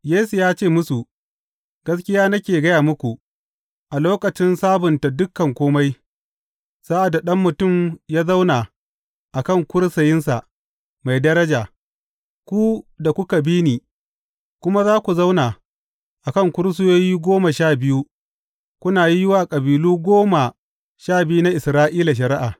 Yesu ya ce musu, Gaskiya nake gaya muku, a lokacin sabunta dukan kome, sa’ad da Ɗan Mutum ya zauna a kan kursiyinsa mai daraja, ku da kuka bi ni, ku ma za ku zauna a kan kursiyoyi goma sha biyu, kuna yi wa kabilu goma sha biyu na Isra’ila shari’a.